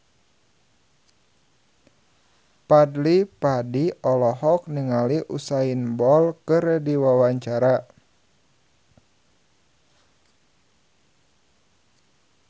Fadly Padi olohok ningali Usain Bolt keur diwawancara